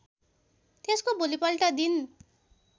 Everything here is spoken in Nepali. त्यसको भोलिपल्ट दिन